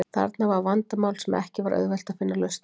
Þarna var vandamál sem ekki var auðvelt að finna lausn á.